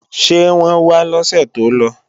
Ṣé wọ́n wá lọ́sè tó lọ?